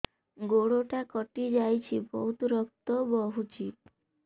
ଗୋଡ଼ଟା କଟି ଯାଇଛି ବହୁତ ରକ୍ତ ବହୁଛି